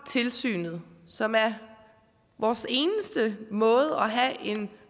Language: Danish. tilsynet som er vores eneste måde at have en